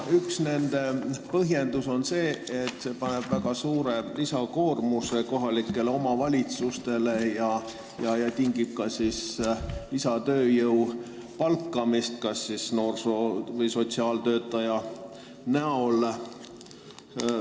Üks põhjendus on, et see paneb väga suure lisakoormuse kohalikele omavalitsustele ja tingib ka lisatööjõu palkamise kas noorsoo- või sotsiaaltöötaja näol.